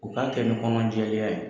U k'a kɛ ni kɔnɔ jɛlenya ye